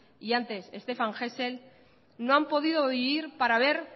y antes stéphane hessel no han podido vivir para ver